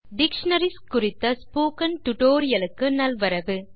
dictionaries குறித்த spoken tutorial க்கு நல்வரவு